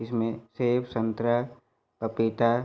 इसमें सेब संतरा पपीता --